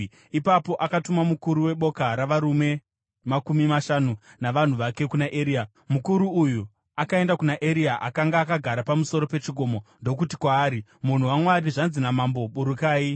Ipapo akatuma mukuru weboka ravarume makumi mashanu navanhu vake kuna Eria. Mukuru uyu akaenda kuna Eria akanga akagara pamusoro pechikomo, ndokuti kwaari, “Munhu waMwari, zvanzi namambo, ‘Burukai!’ ”